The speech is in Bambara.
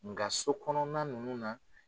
Nga so kɔnɔna nunnu na